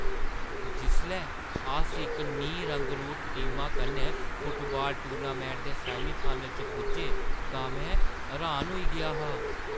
जिसलै अस इक नीं रंगरूट टीमा कन्नै फुटबाल टूर्नामैंट दे सैमीफाइनल च पुज्जे तां में हैरान होई गेआ हा।